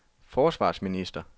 forsvarsminister